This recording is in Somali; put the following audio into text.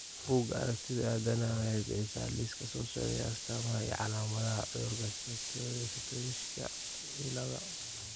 Bugaa aragtida aDdanaha waxay bixisaa liiska soo socda ee astamaha iyo calaamadaha cudurka Satoyoshika ciladha